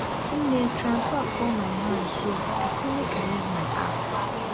nne transfer fall my hand so i say make i use my app